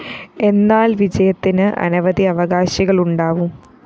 എന്നാല്‍ വിജയത്തിന്‌ അനവധി അവകാശികളുണ്ടാവും